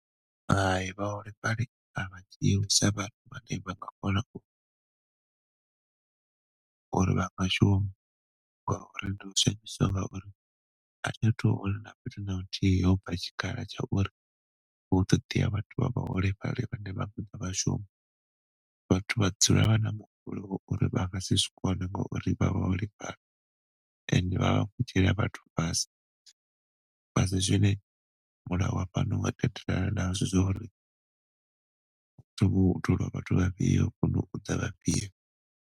Hai, vhaholefhali a vha dzhiwi sa vhathu vhane vha nga kona uri vha shume. Ndi khou zwi ambiswa ngauri a thi a thu vhona na fhethu na huthihi ho bva tshikhala tsha uri hu ṱoḓea vhathu vha vhaholefhali vhane vha nga ḓa vha shuma. Vhathu vha dzula vha na muhumbulo wa uri vha ngasi zwi kone ngauri ndi vhaholefhali and vhavha vha khou dzhiela vhathu fhasi. Asi zwine mulayo wa fhano wa tendelana nazwo zwauri hu khou tholiwa vhathu vhafhio kana u vhidzwa vhafhio.